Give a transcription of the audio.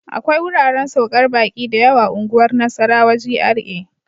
akwai wuraren saukar baƙi da yawa unguwar Nasarawa GRA.